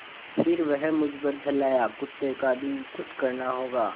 फिर वह मुझ पर झल्लाया कुत्ते का भी कुछ करना होगा